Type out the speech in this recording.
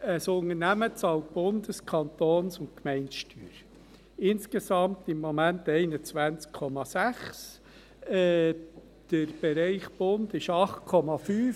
Ein Unternehmen bezahlt Bundes-, Kantons- und Gemeindesteuern, insgesamt im Moment 21,6, der Bereich Bund liegt bei 8,5.